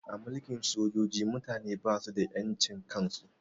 A mulkin sojoji mutane basu da ƴan cin kan su